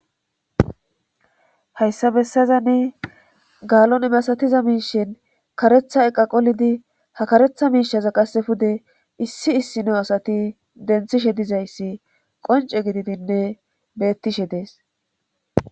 hayssa bessazanne gaalon emasatiza miishen karetha eqqa qolidi ha karetha miishaza qasse fude issi issino asati denthishe dizayssi qonce gididinne bettishe dees